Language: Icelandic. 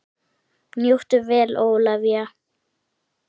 Njóttu vel Ólafía!